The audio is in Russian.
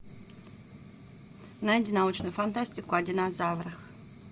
найди научную фантастику о динозаврах